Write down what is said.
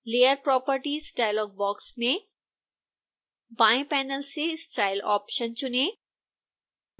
layer properties dialog box में बाएं panel से style ऑप्शन चुनें